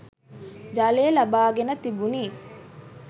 ජලය ලබාගෙන තිබුණි.